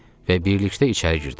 Və birlikdə içəri girdik.